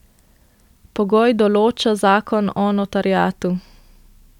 Pogoj določa zakon o notariatu.